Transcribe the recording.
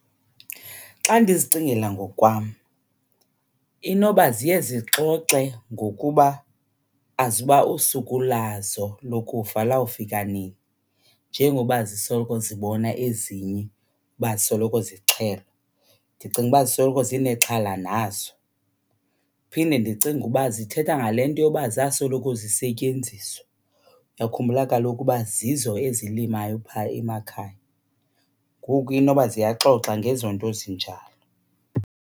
Xa ndizicingela ngokwam, inoba ziye zixoxe ngokuba azuba usuku lazo lokufa lawufika nini njengoba zisoloko zibona ezinye uba zisoloko zixhelwa. Ndicinga uba zisoloko zinexhala nazo. Ndiphinde ndicinge uba zithetha ngale nto yoba zasoloko zisetyenziswa. Uyakhumbula kaloku uba zizo ezilimayo phaa emakhaya. Ngoku inoba ziyaxoxa ngezo nto zinjalo.